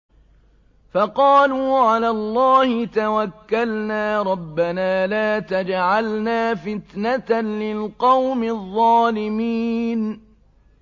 فَقَالُوا عَلَى اللَّهِ تَوَكَّلْنَا رَبَّنَا لَا تَجْعَلْنَا فِتْنَةً لِّلْقَوْمِ الظَّالِمِينَ